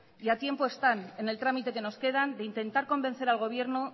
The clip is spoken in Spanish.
y a tiempo están en el trámite que nos queda de intentar convencer al gobierno